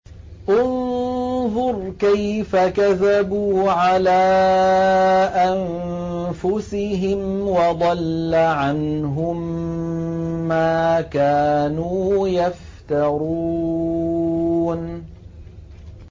انظُرْ كَيْفَ كَذَبُوا عَلَىٰ أَنفُسِهِمْ ۚ وَضَلَّ عَنْهُم مَّا كَانُوا يَفْتَرُونَ